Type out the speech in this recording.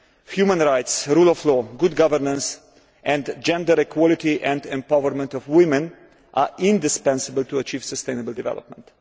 human rights, the rule of law, good governance and gender equality and empowerment of women are indispensable to achieve sustainable development.